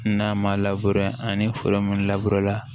N'a ma labure ani foro mun la